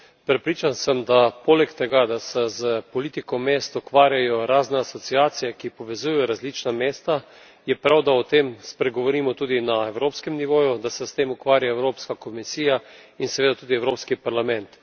Prepričan sem, da poleg tega, da se s politiko mest ukvarjajo razne asociacije, ki povezaujejo različna mesta, je prav, da o tem spregovorimo tudi na evropskem nivoju, da se s tem ukvarja Evropska komisija in seveda tudi Evropski parlament.